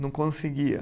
Não conseguia.